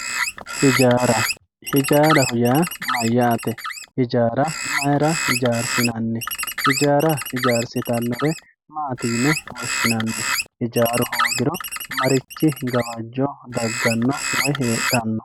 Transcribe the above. Ijjaara, ijaaraho yaa mayatte, ijjaara mayirra ijjarisinnanni ijjarra ijjarisitanore mayine woshinanni, ijjaaru hoogiro marichi gawajjo heedhano woyi dagano